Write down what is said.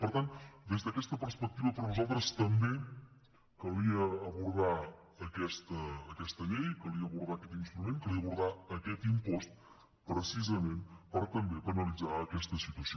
per tant des d’aquesta perspectiva per nosaltres també calia abordar aquesta llei calia abordar aquest instrument calia abordar aquest impost precisament per també penalitzar aquesta situació